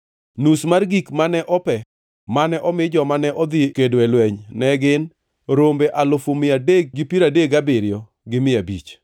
Nus mar gik mane ope mane omi joma ne odhi kedo e lweny ne gin: rombe alufu mia adek gi piero adek gabiriyo gi mia abich (337,500),